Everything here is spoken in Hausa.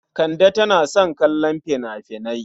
Kande tana son kallon fina-finai.